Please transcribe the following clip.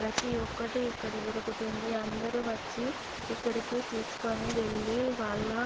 ప్రతి ఒకటి ఇక్కడ దొరుకుతుంది అందరు వచ్చి ఇక్కడికి తీసుకొని వెళ్లి వాళ్ళ --